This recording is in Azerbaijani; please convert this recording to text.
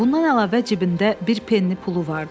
Bundan əlavə cibində bir penni pulu vardı.